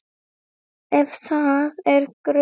Ef það er grun